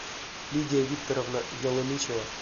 лидия викторовна ялынычева